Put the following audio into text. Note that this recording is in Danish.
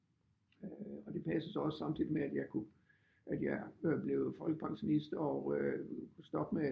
Og det passede så også samtidigt med at jeg kunne at jeg blev folkepensionist og øh kunne stoppe med